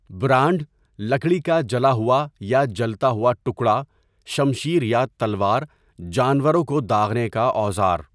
Brand, لکڑی کا جلا ہوا یا جلتا ہوا ٹکڑا، شمشیر یا تلوار، جانوروں کو داغنے کا اوزار.